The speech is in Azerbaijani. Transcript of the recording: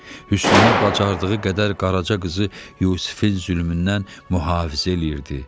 Hüsniyyə bacardığı qədər Qaraca qızı Yusifin zülmündən mühafizə eləyirdi.